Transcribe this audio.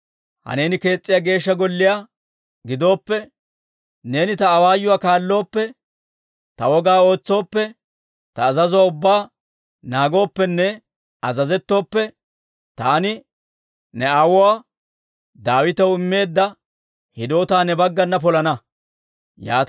«Ha neeni kees's'iyaa Geeshsha Golliyaa gidooppe, neeni ta awaayuwaa kaallooppe, ta wogaa ootsooppe, ta azazuwaa ubbaa naagooppenne azazettooppe, taani ne aawuwaa Daawitaw immeedda hidoota ne baggana polana.